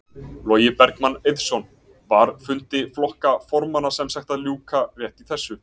Logi Bergmann Eiðsson: Var fundi flokka formanna sem sagt að ljúka rétt í þessu?